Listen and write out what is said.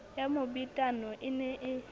ya mobetano e ne e